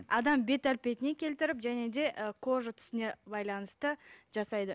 адам бет әлпетіне келтіріп және де ы кожа түсіне байланысты жасайды